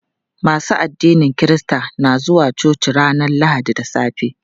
Masu addinin kirista na zuwa coci ranar lahadi da safe.